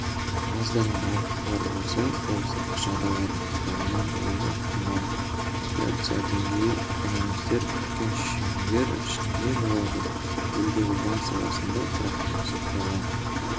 аздаған ауытқулар болса ол сыртқы жағдайлардың ықпалынан болуы ықтимал инфляция деңгейі экономистер күткен шеңбер ішінде болды елдегі банк саласында тұрақтылық сақталған